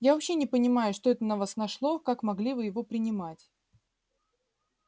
я вообще не понимаю что это на вас нашло как могли вы его принимать